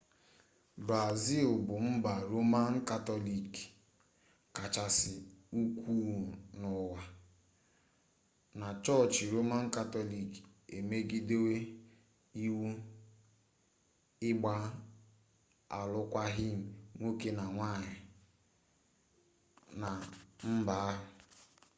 brazil bụ mba roman katọlik kachasị ukwuu n'ụwa na chọọchị roman katọlik emegidewo iwu ịgba alụkwaghịm nwoke na nwanyị na mba ahụ .